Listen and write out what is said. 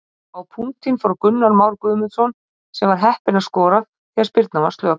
Á punktinn fór Gunnar Már Guðmundsson sem var heppinn að skora því spyrnan var slök.